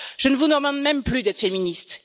Je ne vous demande même plus d'être féministes.